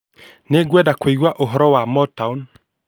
Nĩngwenda kũigua ũhoro wa Motown